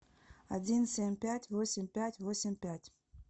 один семь пять восемь пять восемь пять